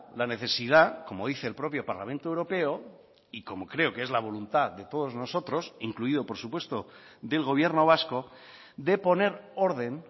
la necesidad como dice el propio parlamento europeo y como creo que es la voluntad de todos nosotros incluido por supuesto del gobierno vasco de poner orden